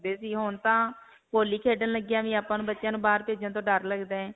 ਸੀ ਓਹ ਹੁਣ ਤਾਂ ਹੋਲੀ ਖੇਡਣ ਲਗਿਆਂ ਵੀ ਆਪਾਂ ਨੂੰ ਬੱਚਿਆਂ ਨੂੰ ਬਾਹਰ ਭੇਜਣ ਤੋਂ ਡਰ ਲਗਦਾ ਹੈ.